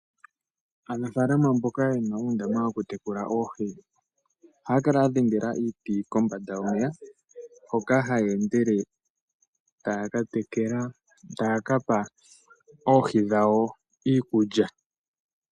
Aanafaalama mboka ye na uundama woku tekula oohi, ohaya kala ya dhengela iiti kombanda hoka haya endele uuna taya ka pa oohi dhawo iikulya.